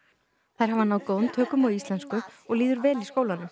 þær hafa náð góðum tökum á íslensku og líður vel í skólanum